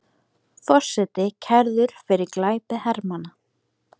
Forseti kærður fyrir glæpi hermanna